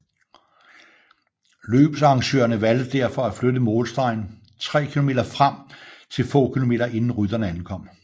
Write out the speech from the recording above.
Løbsarrangørene valgte derfor at flytte målstregen 3 km frem til få kilometer inden rytterne ankom